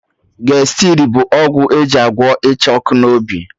Gestid bụ ọgwụ eji agwọ Ịcha ọkụ n'obi